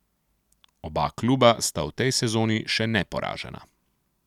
Oba kluba sta v tej sezoni še neporažena.